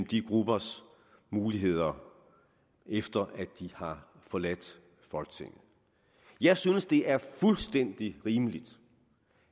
de gruppers muligheder efter at de har forladt folketinget jeg synes det er fuldstændig rimeligt